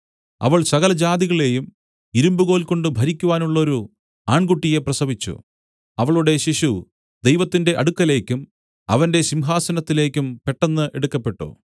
അവൾ സകലജാതികളെയും ഇരുമ്പുകോൽ കൊണ്ട് ഭരിക്കുവാനുള്ളോരു ആൺകുട്ടിയെ പ്രസവിച്ചു അവളുടെ ശിശു ദൈവത്തിന്റെ അടുക്കലേക്കും അവന്റെ സിംഹാസനത്തിലേക്കും പെട്ടെന്ന് എടുക്കപ്പെട്ടു